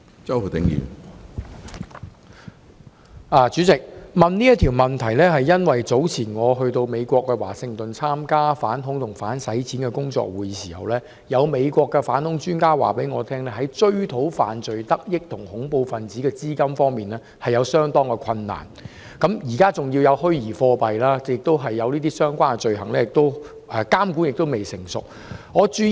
主席，我提出這項質詢，是因為早前我前往美國華盛頓參加反恐及打擊洗錢的工作會議時，有美國反恐專家告訴我，在追討犯罪得益及恐怖分子資金方面相當困難，加上現在有虛擬貨幣，而當局對相關罪行的監管亦未成熟，困難因而更大。